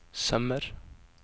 sømmer